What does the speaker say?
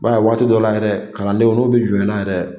I b'a ye waati dɔ la yɛrɛ kalandenw n'u bɛ jɔn i la yɛrɛ